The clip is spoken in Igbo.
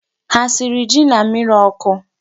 Há esiri ji na mmịrị ọkụ?